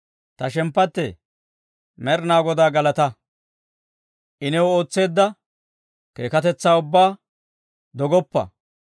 Ta shemppattee, Med'inaa Godaa galataa! I new ootseedda keekkatetsaa ubbaa dogoppa.